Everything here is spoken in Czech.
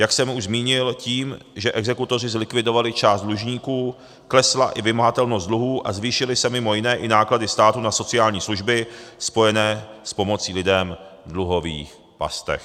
Jak jsem už zmínil, tím, že exekutoři zlikvidovali část dlužníků, klesla i vymahatelnost dluhů a zvýšily se mimo jiné i náklady státu na sociální služby spojené s pomocí lidem v dluhových pastech.